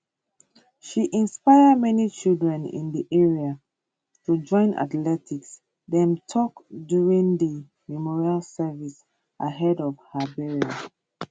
she inspire many children in di area to join athletics dem tok during di memorial service ahead of her burial